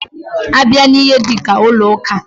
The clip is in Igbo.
A bịa n'ihe dika ụlọ ụka.